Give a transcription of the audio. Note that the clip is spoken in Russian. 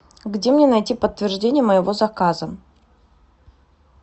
где мне найти подтверждение моего заказа